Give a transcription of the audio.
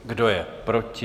Kdo je proti?